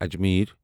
Ajmer